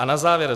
A na závěr.